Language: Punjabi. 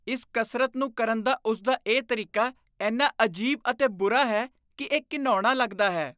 ਇਸ ਕਸਰਤ ਨੂੰ ਕਰਨ ਦਾ ਉਸਦਾ ਇਹ ਤਰੀਕਾ ਇੰਨਾ ਅਜੀਬ ਅਤੇ ਬੁਰਾ ਹੈ ਕਿ ਇਹ ਘਿਣਾਉਣਾ ਲੱਗਦਾ ਹੈ।